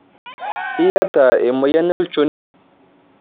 Iyata emoyian olchoni.